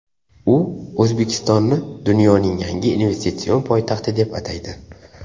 U O‘zbekistonni dunyoning yangi investitsion poytaxti deb ataydi.